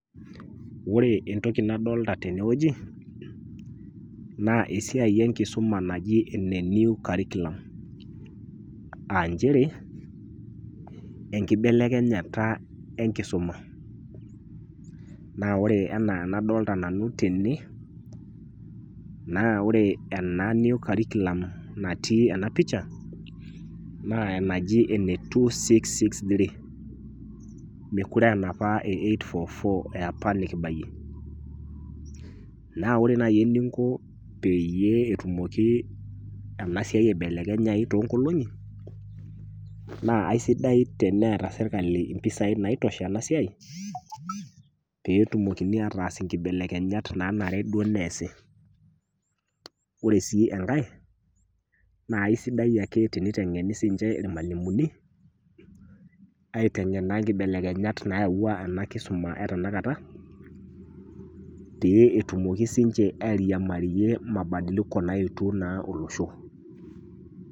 Ore entoki nadolita teneweji naa esiai enkisuma najii ene new curriculum aa nchere enkibelekenyata enkisuma. Naa ore enaa anadolita nanu tena naa ore ena new curriculum natii ena picha naa enaji ene two-six-six- three. Mokire aa enapa ee eight -four -four nikipayie. Naa ore naji einko peyie etumoki ena siai aibelekenyayu toonkoling'i naa aisidai teneeta serikali mpesai naitosha ena siai peetumokini ataas ibelekenyat nanare duo neesi. Na ore si enkae naa kisidai ake teniteng'eni ake irmalimuni ateng'en naa ikibelekenyat nayaua enkisuma etenakata pee etumokii sii ninche airiamarie mabadiliko naetuo naa olosho.